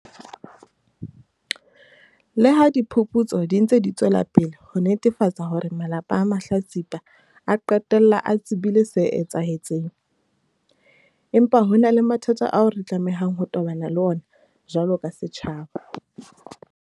Leha diphuputso di ntse di tswela pele ho netefatsa hore malapa a mahlatsipa a qetella a tsebile se etsahetseng, empa ho na le mathata ao re tlamehang ho tobana le ona jwalo ka setjhaba.